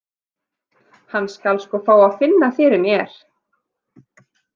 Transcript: Hann skal sko fá að finna fyrir mér.